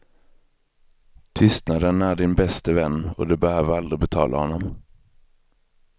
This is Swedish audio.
Tystnaden är din bäste vän och du behöver aldrig betala honom.